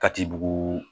Kati bugu